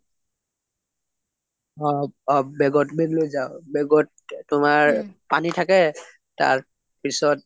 অ bag ত bag লৈ যাও bag ত তোমাৰ পানী থাকে তাৰ পিছত